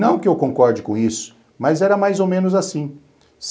Não que eu concorde com isso, mas era mais ou menos assim.